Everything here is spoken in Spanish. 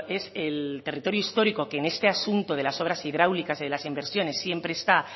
es el territorio histórico que en este asunto de las obras hidráulicas de las inversiones siempre está